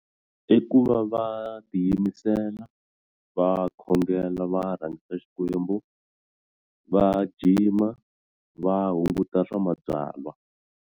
I ku va va tiyimisela va khongela va rhangisa Xikwembu va jima va hunguta swa ma byala.